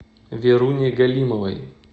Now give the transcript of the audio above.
веруне галимовой